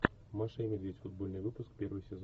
маша и медведь футбольный выпуск первый сезон